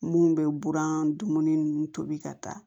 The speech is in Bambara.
Mun bɛ buran dumuni ninnu tobi ka taa